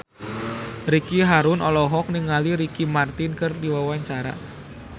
Ricky Harun olohok ningali Ricky Martin keur diwawancara